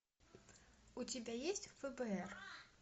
у тебя есть фбр